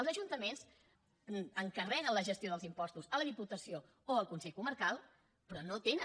els ajuntaments encarreguen la gestió dels impostos a la diputació o al consell comarcal però no tenen